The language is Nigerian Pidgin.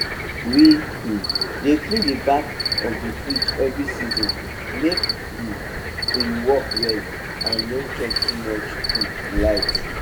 we um dey clean d back of the fridge every season make um e work well and no chop too much um light